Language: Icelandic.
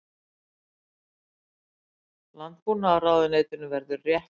Landbúnaðarráðuneytinu verið rétt lýst.